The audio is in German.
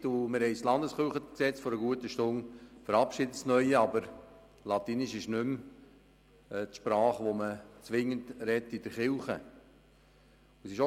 Vor einer guten Stunde haben wir das neue LKG verabschiedet, aber Latein ist nicht mehr die Sprache, die man in der Kirche zwingend spricht.